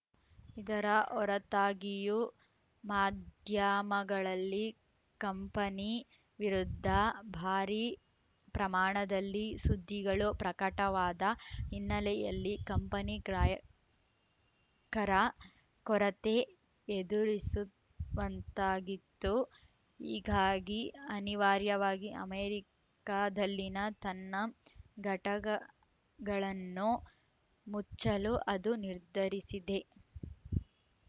ಇದರ ಹೊರತಾಗಿಯೂ ಮಾಧ್ಯಾಮಗಳಲ್ಲಿ ಕಂಪನಿ ವಿರುದ್ಧ ಭಾರೀ ಪ್ರಮಾಣದಲ್ಲಿ ಸುದ್ದಿಗಳು ಪ್ರಕಟವಾದ ಇನ್ನೆಲೆಯಲ್ಲಿ ಕಂಪನಿ ಗ್ರಾಯಕರ ಕೊರತೆ ಎದುರಿಸುವಂತಾಗಿತ್ತು ಹೀಗಾಗಿ ಅನಿವಾರ್ಯವಾಗಿ ಅಮೆರಿಕದಲ್ಲಿನ ತನ್ನ ಘಟಗಗಳನ್ನು ಮುಚ್ಚಲು ಅದು ನಿರ್ಧರಿಸಿದೆ